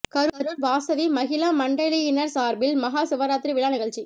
கரூர் வாசவி மகிளா மண்டலியினர் சார்பில் மஹா சிவராத்திரி விழா நிகழ்ச்சி